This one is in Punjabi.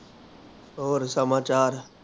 ਹੋਰ ਸਮਾਚਾਰ